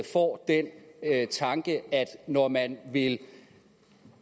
får den tanke at når man vil